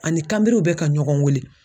Ani kanberenw bɛ ka ɲɔgɔn weele